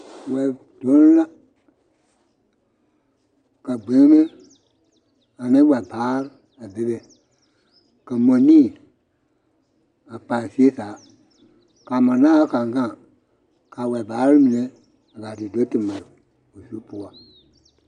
Wɛdonne la ka gbei ane wɛbaare a be be ka mɔnii a pa zie zaa ka mɔdaao kaŋ a gaŋ kaa wɛbaare gaa te do ma o zu poɔ